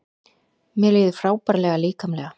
Mér líður frábærlega líkamlega